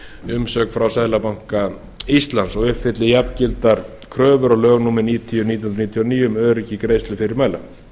umsögn frá seðlabanka íslands og uppfylli jafngildar kröfur og lög númer níutíu nítján hundruð níutíu og níu um öryggi greiðslufyrirmæla